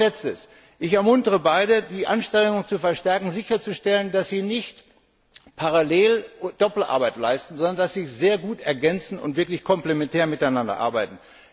Noch ein Letztes Ich ermuntere beide Banken, ihre Anstrengungen zu verstärken und sicherzustellen, dass sie keine Doppelarbeit leisten, sondern dass sie sich sehr gut ergänzen und wirklich komplementär miteinander arbeiten.